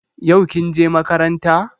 Yau kin je makaranta?